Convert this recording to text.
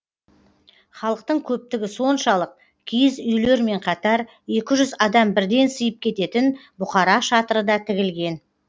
халықтың көптігі соншалық киіз үйлермен қатар екі жүз адам бірден сыйып кететін бұқара шатыры да тігілген